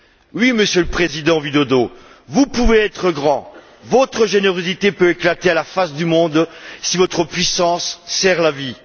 Oui, Monsieur le président Widodo, vous pouvez être grand, votre générosité peut éclater à la face du monde, si votre puissance sert la vie.